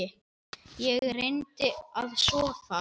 Ég reyndi að sofa.